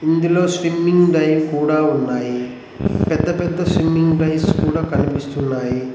ఇందులో స్విమ్మింగ్ డైన్ కూడా ఉన్నాయి పెద్ద పెద్ద స్విమ్మింగ్ డైస్ కూడా కనిపిస్తున్నాయి.